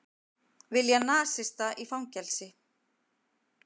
Vilja nasista í fangelsi